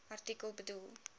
artikel bedoel